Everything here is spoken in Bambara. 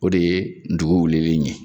O de ye dugu wulili in ye.